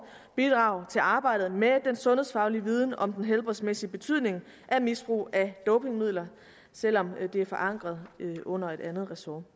bidrage til arbejdet med den sundhedsfaglige viden om den helbredsmæssige betydning af misbrug af dopingmidler selv om det er forankret under et andet ressort